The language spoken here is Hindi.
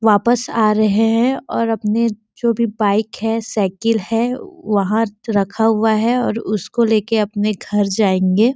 वापस आ रहे है और अपने जो भी बाईक है साईकल है वहाँ रखा हुआ है और उसको लेके अपने घर जायेंगे--